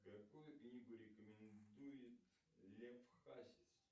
какую книгу рекомендует лев хасис